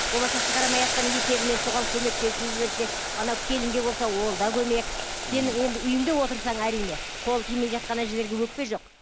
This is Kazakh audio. болмаса шығарамайатқан есебіне соған көмектесіп жіберсе анау келінге болса ол да көмек сенің енді үйіңде отырсаң әрине қол тимей жатқан әжелерге өкпе жоқ